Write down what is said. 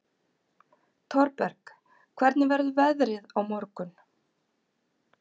Thorberg, hvernig verður veðrið á morgun?